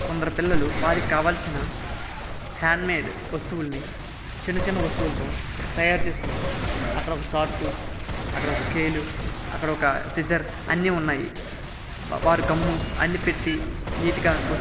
కొందరు పిల్లలు వారికి కావాల్సిన హ్యాండ్ మాదే వస్తువులని చిన్న చిన్న వస్తువులతో తయారు చేసుకుంటున్నారు అక్కడ ఒక చార్ట్ అక్కడ ఒక స్కేలు అక్కడ ఒక సీజర్ అన్నీ ఉన్నాయి వారు గమ్ము అన్నీ పెట్టి నిట్ గ --